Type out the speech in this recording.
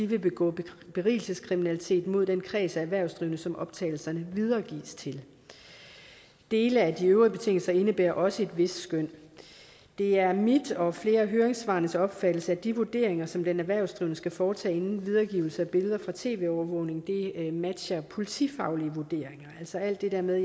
vil begå berigelseskriminalitet mod den kreds af erhvervsdrivende som optagelserne videregives til dele af de øvrige betingelser indebærer også et vist skøn det er min og flere af høringsparternes opfattelse at de vurderinger som den erhvervsdrivende skal foretage inden videregivelse af billeder fra tv overvågning matcher politifaglige vurderinger altså alt det der med